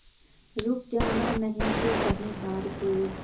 रुक जाना नहीं तू कहीं हार के